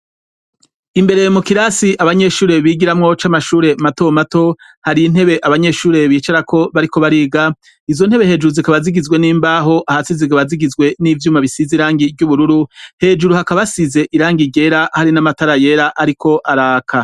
Imbere mu kirasi abanyeshure bigiramwo c'amashure mato mato hari intebe abanyeshure bicarako bariko bariga izo ntebe hejuru zikaba zigizwe n'imbaho, ahasi zikaba zigizwe n'ivyuma bisize irangi ry'ubururu hejuru hakaba hasize irangi ryera hari n'amatara yera ariko araka.